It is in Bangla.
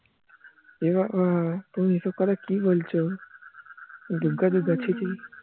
এবাবা তুমি এসব কথা কি বলছো দুগ্গা দুগ্গা ছি ছি